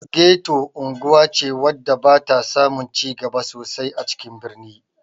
Geto unguwa ce wadda ba ta samu cigaba sosai ba a cikin birni